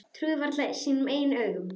Trúði varla sínum eigin augum.